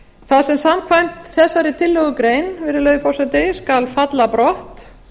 þar sem samkvæmt þessari tillögugein virðulegi forseti skal falla brott